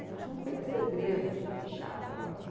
Acho que não troquei nem segredo de, de chave daquela casa.